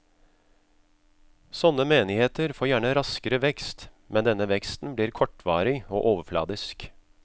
Sånne menigheter får gjerne raskere vekst, men denne veksten blir kortvarig og overfladisk.